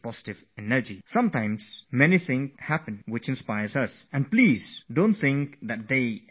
There are many things that inspire us, and don't think that they inspire only students